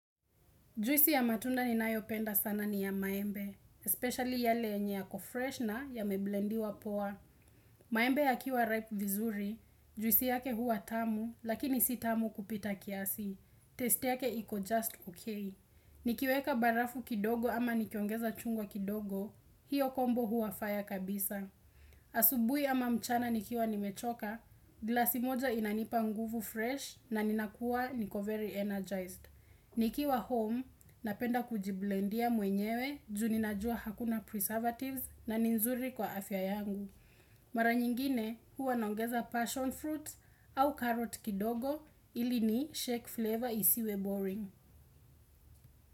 Juisi ya matunda ni nayopenda sana ni ya maembe, especially yale enye ya kofresh na ya meblendiwa poa.` Maembe ya kiwa ripe vizuri, juisi yake huwa tamu, lakini si tamu kupita kiasi. Taste yake iko just okay. Nikiweka barafu kidogo ama nikiongeza chungwa kidogo, hiyo kombo huwa faya kabisa. Asubuhi ama mchana nikiwa nimechoka, glasi moja inanipa nguvu fresh na ninakua niko very energized. Niki wa home, napenda kujiblendia mwenyewe juu ninajua hakuna preservatives na ninzuri kwa afya yangu. Mara nyingine huwa nongeza passion fruits au carrot kidogo ili ni shake flavor isiwe boring.